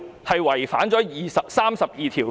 是否違反《基本法》第三十二條呢？